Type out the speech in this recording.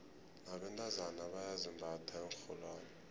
nabentazana bayazimbatha iinrholwane